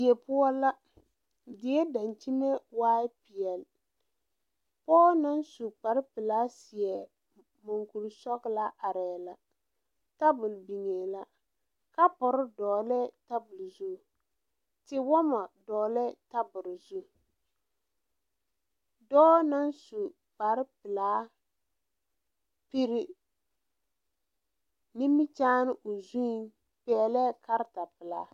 Die poɔ la die daŋkyime waaɛ peɛl pɔɔ na su kparpelaa seɛ muŋkurisɔɡelaa arɛɛ la tabuli biŋee la kapuri dɔɔlɛɛ tabuli zu tewɔmɔ dɔɔlɛɛ tabuli zu dɔɔ na su kparpelaa piri nimikyaane o zuŋ pɛɛlɛɛ karatapelaa.